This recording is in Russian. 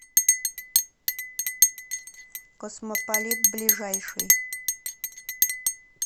космополит ближайший